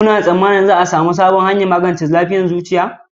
Kuna tsammanin za a sami sabbin hanyoyin magance lafiyar zuciya?